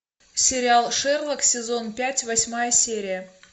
сериал шерлок сезон пять восьмая серия